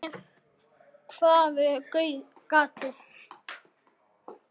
Þeir hváðu: Gati?